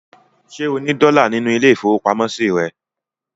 Ṣé ó ní dọ́là nínú ilé-ìfowópamọ́sí rẹ̀?